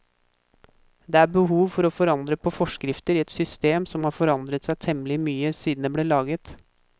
Det er behov for å forandre på forskrifter i et system som har forandret seg temmelig mye siden det ble laget.